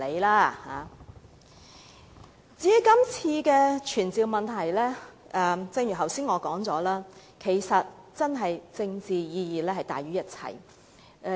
關於今次的傳召議案，正如我剛才所說，是政治意義大於一切。